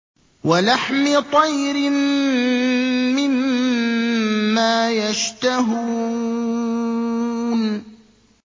وَلَحْمِ طَيْرٍ مِّمَّا يَشْتَهُونَ